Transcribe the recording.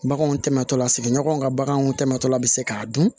Baganw tɛmɛna sigiɲɔgɔnw ka baganw tɛmɛna k'a dun